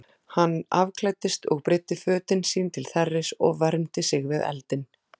Hann afklæddist og breiddi fötin sín til þerris og vermdi sig við eldinn.